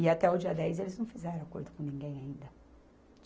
E até o dia dez, eles não fizeram acordo com ninguém ainda.